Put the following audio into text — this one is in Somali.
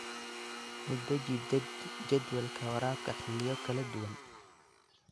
U deji jadwalka waraabka xilliyo kala duwan.